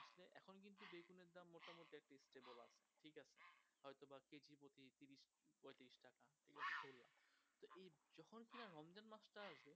তখন কি না রমজান মাসটা